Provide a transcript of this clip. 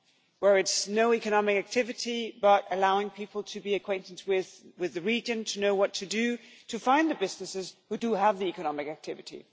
where it is no economic activity but allowing people to be acquainted with the region, to know what to do to find the businesses who do have the economic activity.